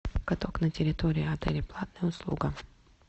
каток на территории отеля платная услуга